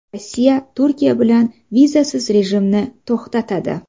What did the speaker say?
Rossiya Turkiya bilan vizasiz rejimni to‘xtatadi.